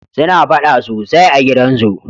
suna faɗa sosai a gidan su